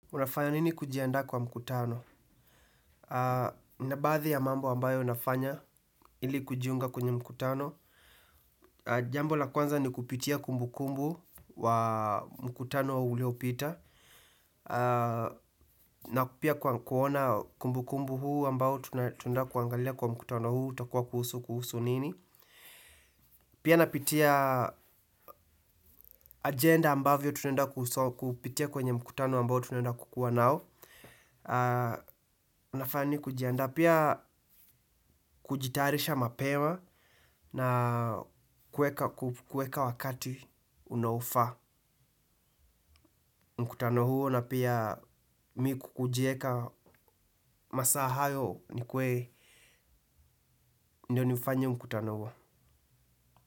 Unafanya nini kujiandaa kwa mkutano? Baadhi ya mambo ambayo nafanya ili kujiunga kwenye mkutano. Jambo la kwanza ni kupitia kumbukumbu wa mkutano wa ulio pita. Na pia kuona kumbu kumbu huu ambao tunaenda kuangalia kwa mkutano huu utakuwa kuhusu kuhusu nini. Pia napitia agenda ambavyo tunaenda kuhusu, kupitia kwenye mkutano ambayo tunenda kukuwa nao. Unafanya nini kujianda? Pia kujitayarisha mapema na kueka wakati unaofaa mkutano huo na pia mi hujieka masaa hayo nikuwe ndio nifanye mkutano huo.